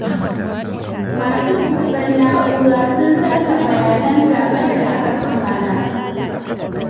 Masu kutsen na'ura sun sace bayanan zaɓen da aka kammala.